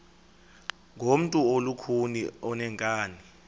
ngumntu olukhuni oneenkani